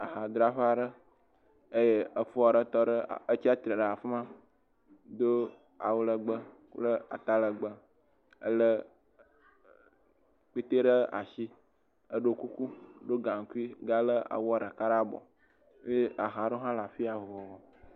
Aha dzraƒe aɖe, eye efo aɖe tsia tsitre ɖe afima do atalegbẽ kple atalegbẽ ele kpete ɖe asi, eɖɔ kuku, eɖɔ gankui ga le awu ɖe ɖe abɔ eye aha aɖewo hã le afiya vovovo.